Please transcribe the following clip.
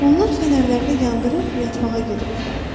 Onlar fənərləri yandırıb yatmağa gedirdilər.